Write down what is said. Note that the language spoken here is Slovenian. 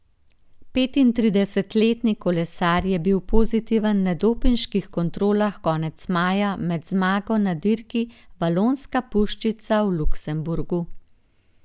Petintridesetletni kolesar je bil pozitiven na dopinških kontrolah konec maja med zmago na dirki Valonska puščica v Luksemburgu.